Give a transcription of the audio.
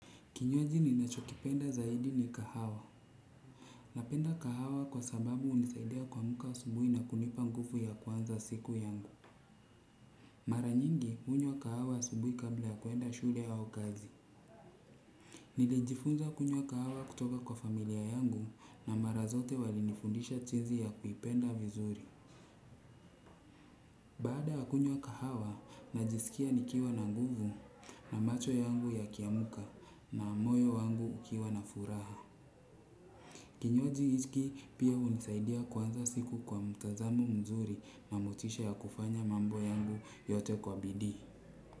Kinyozi ninachokipenda zaidi ni kahawa. Napenda kahawa kwa sababu unisaidia kuamka asubuhi na kunipa nguvu ya kuanza siku yangu. Mara nyingi, kunywa kahawa asubuhi kabla ya kuenda shule au kazi. Nilijifunza kunwya kahawa kutoka kwa familia yangu na mara zote walinifundisha jinsi ya kuipenda vizuri. Baada kunywa kahawa, najiskia nikiwa na nguvu na macho yangu yakiamka na moyo wangu ukiwa na furaha. Kinywaji hiki pia unisaidia kuanza siku kwa mtazamo mzuri na motisha ya kufanya mambo yangu yote kwa bidii.